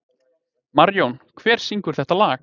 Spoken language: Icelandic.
Marjón, hver syngur þetta lag?